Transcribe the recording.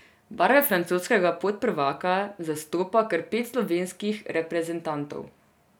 Barve francoskega podprvaka zastopa kar pet slovenskih reprezentantov.